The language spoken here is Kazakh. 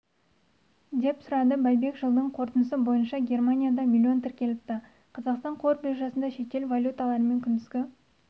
деп сұрады байбек жылдың қорытындысы бойынша германияда миллион тіркеліпті қазақстан қор биржасында шетел валюталарымен күндізгі